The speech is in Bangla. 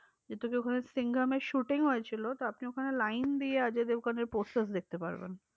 যেহেতু ওখানে সিংঘাম এর shooting হয়েছিল, তো আপনি ওইখানে line দিয়ে অজয় দেবগানের posters দেখতে পারবেন।